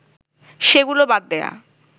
সেগুলো বাদ দেয়া